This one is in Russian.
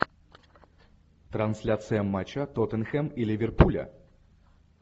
трансляция матча тоттенхэм и ливерпуля